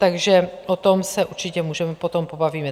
Takže o tom se určitě můžeme potom pobavit.